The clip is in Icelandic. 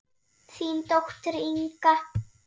Þín dóttir, Inga.